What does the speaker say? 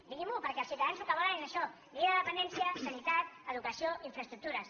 diguinm’ho perquè els ciutadans el que volen és això llei de la dependència sanitat educació infraestructures